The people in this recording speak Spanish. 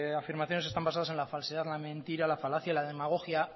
afirmaciones están basadas en la falsedad la mentira la falacia la demagogia